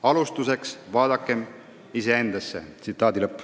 Alustuseks vaadakem iseendasse.